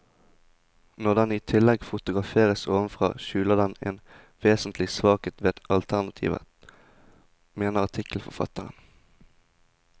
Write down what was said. Når den i tillegg fotograferes ovenfra, skjuler den en vesentlig svakhet ved alternativet, mener artikkelforfatteren.